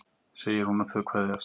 segir hún og þau kveðjast.